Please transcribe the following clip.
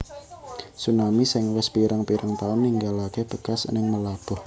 Tsunami sing wis pirang pirang taun ninggalake bekas ning Meulaboh